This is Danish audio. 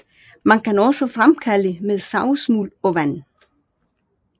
Man kan også fremkalde med savsmuld og vand